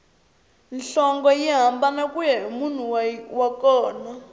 nhlonge yi hambana kuya hi munhu wa kona